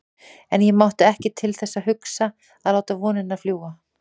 En ég mátti ekki til þess hugsa að láta vonina fljúga.